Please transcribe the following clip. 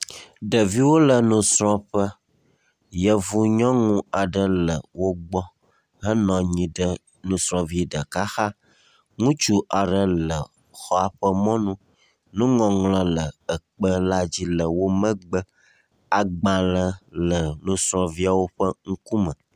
Ɖeviwo le nusrɔ̃ƒe, yevu nyɔnu aɖe le wo gbɔ henɔ anyi ɖe nusrɔ̃vi ɖeka xa. Ŋutsu aɖe le mɔa ƒe mɔnu. Nuŋɔŋlɔ le kpe la dzi le wo megbe. Agbalẽ le nusrɔ̃viawo ƒe ŋkume.